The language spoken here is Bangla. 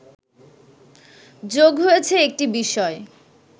যোগ হয়েছে একটি বিষয়